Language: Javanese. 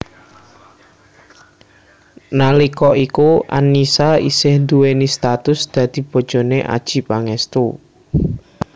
Nalika iku Annisa isih duwéni status dadi bojone Adjie Pangestu